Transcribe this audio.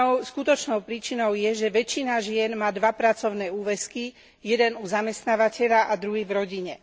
Skutočnou príčinou je, že väčšina žien má dva pracovné úväzky jeden u zamestnávateľa a druhý v rodine.